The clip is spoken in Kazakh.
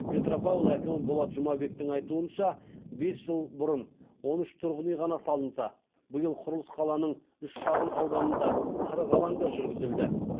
петропавл әкімі болат жұмабектің айтуынша бес жыл бұрын он үш тұрғын үй ғана салынса биыл құрылыс қаланың үш шағын ауданында қырық алаңда жүргізілді